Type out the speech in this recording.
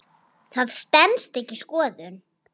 Það stenst ekki skoðun.